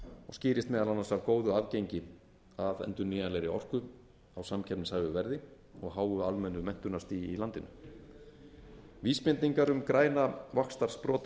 og skýrist meðal annars af góðu aðgengi að endurnýjanlegri orku á samkeppnishæfu verði og háu almennu menntunarstigi í landinu vísbendingar um græna vaxtarsprota í